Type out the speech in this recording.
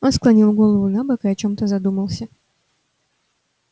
он склонил голову набок и о чём-то задумался